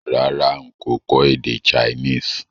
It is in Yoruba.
Rárá n kò kọ́ èdè Chinese